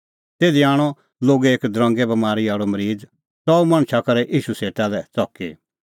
तिधी आणअ लोगै एक दरंगे बमारी आल़अ मरीज़ च़ऊ मणछा करै ईशू सेटा लै च़की